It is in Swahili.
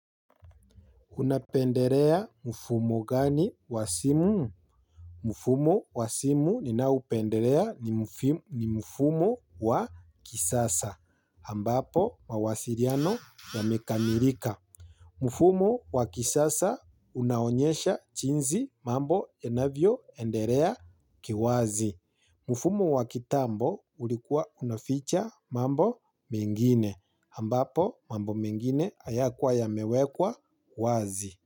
Unapendelea mfumo gani wa simu? Mfumo wa simu ninaoupendelea ni mfumo wa kisasa. Ambapo mawasiliano ya mekamilika. Mfumo wa kisasa unaonyesha jinsi mambo yanavyo endelea kiwazi. Mfumo wa kitambo ulikuwa unaficha mambo mengine. Ambapo mambo mengine hayakuwa ya mewekwa wazi.